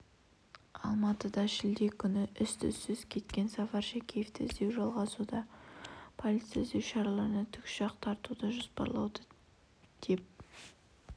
алматыда шілде күні із-түссіз кеткен сафар шәкеевті іздеу жалғасуда полиция іздеу шараларына тікұшақ тартуды жоспарлауда деп